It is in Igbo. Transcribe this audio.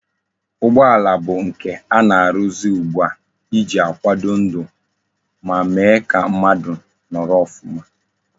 Ụgbọala bụ nke ana aruzi ugbua iji akwado ndu ma Mee ka mmadu noro ofuma